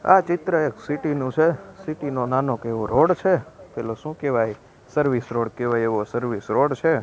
આ ચિત્ર એક સિટી નુ છે સિટી નો નાનો એવો રોડ છે પેલો શું કેવાય સર્વિસ રોડ કેવાય એવો સર્વિસ રોડ છે.